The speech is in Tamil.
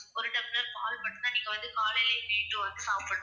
ஒரு டம்ளர் பால் மட்டும் தான் நீங்க காலையிலையும், night ம் மட்டும் சாப்பிடணும்.